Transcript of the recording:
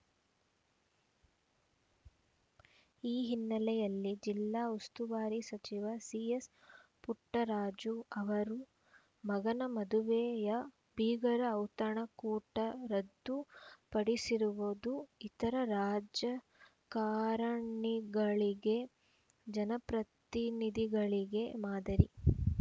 ಈ ಹಿನ್ನೆಲೆಯಲ್ಲಿ ಜಿಲ್ಲಾ ಉಸ್ತುವಾರಿ ಸಚಿವ ಸಿಎಸ್‌ ಪುಟ್ಟರಾಜು ಅವರು ಮಗನ ಮದುವೆಯ ಬೀಗರ ಔತಣ ಕೂಟ ರದ್ದು ಪಡಿಸಿರುವುದು ಇತರ ರಾಜಕಾರಣಿಗಳಿಗೆ ಜನಪ್ರತಿನಿಧಿಗಳಿಗೆ ಮಾದರಿ